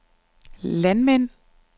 landmænd